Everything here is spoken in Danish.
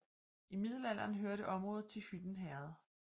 I middelalderen hørte området til Hytten Herred